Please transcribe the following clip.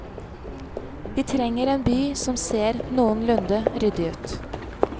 Vi trenger en by som ser noenlunde ryddig ut.